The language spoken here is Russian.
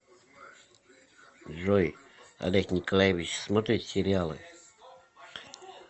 джой олег николаевич смотрит сериалы